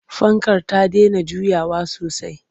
Fankar ta dena juyawa sosai.